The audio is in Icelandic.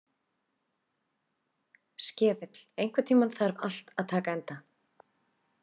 Skefill, einhvern tímann þarf allt að taka enda.